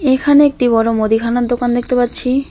এখানে একটি বড় মুদিখানার দোকান দেখতে পাচ্ছি।